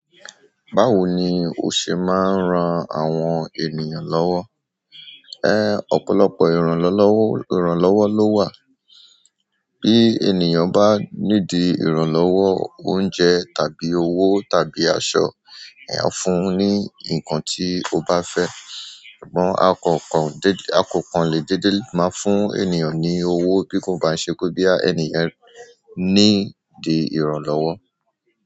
Báwo ni o ṣe máa ń ran àwọn ènìyàn lọ́wọ́? Ọ̀pọ̀lọpọ̀ ìrànlọ́wọ́ ìrànlọ́wọ́ ló wà. Bí ènìyàn bá need ìrànlọ́wọ́ oúnjẹ tàbí owó tàbí aṣọ, èèyàn a fún un ní nǹkan tí ó bá fẹ́. Ṣùgbọ́n a ko kan le dede maa fún ènìyàn ni owo bi ko ba n se pe ẹni yen need ìrànlọ́wọ́.